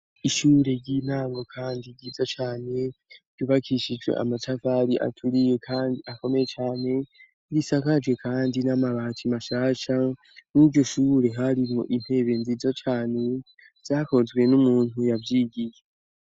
Ishure ry'intango kandi ryiza cane ryubakishijwe amatafari aturiye kandi akomeye cane, isakaje kandi n'amabati mashasha ; Mw'iryo shure harimwo intebe nziza cane zakozwe n'umuntu yavyigiye.